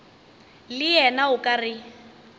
le yena o ka re